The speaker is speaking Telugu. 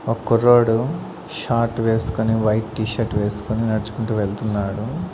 ఒక కుర్రోడు షార్ట్ వేసుకొని వైట్ టీ షర్ట్ వేసుకొని నడుచుకుంటూ వెళ్తున్నాడు.